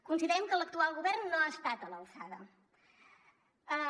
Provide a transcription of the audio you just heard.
considerem que l’actual govern no ha estat a l’alçada